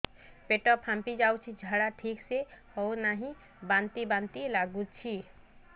ପେଟ ଫାମ୍ପି ଯାଉଛି ଝାଡା ଠିକ ସେ ହଉନାହିଁ ବାନ୍ତି ବାନ୍ତି ଲଗୁଛି